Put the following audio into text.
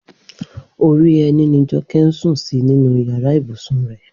Orí ẹní ni Jọkẹ́ ń sùn sí nínú yàrá ibùsùn rẹ̀